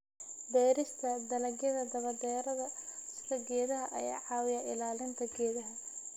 Beerista dalagyada daba-dheeraada sida geedaha ayaa caawiya ilaalinta deegaanka.